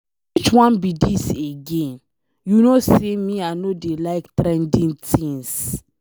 Which one be dis again? You know say me I no dey like trending things.